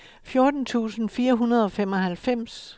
fjorten tusind fire hundrede og femoghalvfems